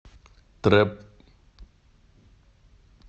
трэп